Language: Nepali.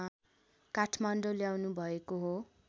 काठमाडौँ ल्याउनुभएको हो